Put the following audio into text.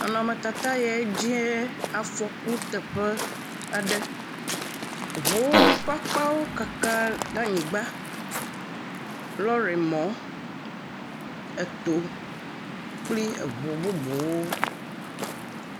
Nɔnɔmetata yae dzie afɔkuteƒe aɖe. Ŋuwo ƒe akpawo kaka ɖe anyigba. Lɔɖi mɔ eto kpli eŋu bubuwo.